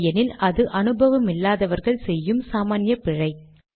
இல்லையெனில் அது அனுபவமில்லாதவர்கள் செய்யும் சாமான்ய பிழை